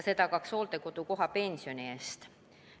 See tagaks hooldekodukoha pensioni eest.